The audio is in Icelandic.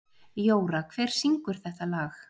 Jóra, hver syngur þetta lag?